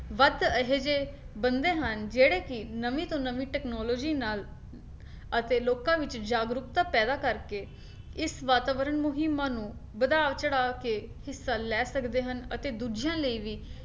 ਵੱਧ ਅਜਿਹੇ ਬੰਦੇ ਹਨ ਜਿਹੜੇ ਕੇ ਨਵੀਂ ਤੋਂ ਨਵੀਂ technology ਨਾਲ ਅਤੇ ਲੋਕਾਂ ਵਿੱਚ ਜਾਗਰੂਕਤਾ ਪੈਦਾ ਕਰਕੇ ਇਸ ਵਾਤਾਵਰਨ ਮੁਹਿੰਮਾਂ ਨੂੰ ਵਧਾਓ ਚੜਾਕੇ ਹਿੱਸਾ ਲੈ ਸਕਦੇ ਹਨ ਅਤੇ ਦੂਜਿਆਂ ਲਈ ਵੀ